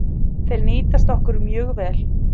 Þeir nýtast okkur mjög vel